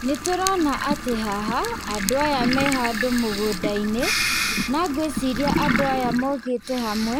Nĩtũrona atĩ haha andũ aya me handũ mũgũnda-inĩ, na ngwĩciria andũ aya mokĩte hamwe